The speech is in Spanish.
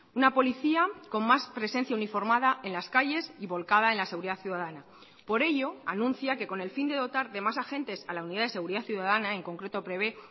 una policía con más presencia uniformada en las calles y volcada en la seguridad ciudadana por ello anuncia que con el fin de dotar de más agentes a la unidad de seguridad ciudadana en concreto prevé